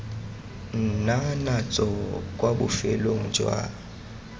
nna natso kwa bofelong jwa